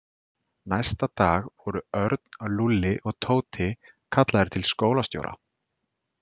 Næsta dag voru Örn, Lúlli og Tóti kallaðir til skólastjóra.